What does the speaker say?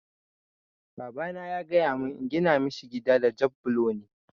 Babana ya gaya mun in gina mishi gida da jab bulo ne